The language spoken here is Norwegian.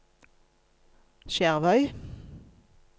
Skjervøy